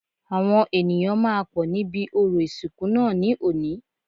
Àwọn ènìyàn máa pọ̀ níbi orò ìsìnkú náà ní òní